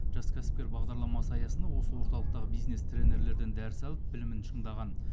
жас кәсіпкер бағдарламасы аясында осы орталықтағы бизнес тренерлерден дәріс алып білімін шыңдаған